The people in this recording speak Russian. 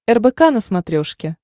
рбк на смотрешке